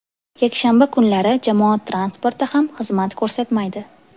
Yakshanba kunlari jamoat transporti ham xizmat ko‘rsatmaydi.